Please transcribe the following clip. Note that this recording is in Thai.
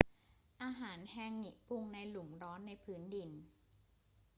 อาหารแฮงงิปรุงในหลุมร้อนในพื้นดิน